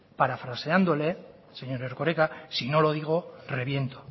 parafraseándole señor erkoreka si no lo digo reviento